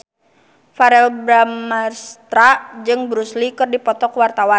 Verrell Bramastra jeung Bruce Lee keur dipoto ku wartawan